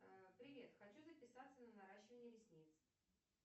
привет хочу записаться на наращивание ресниц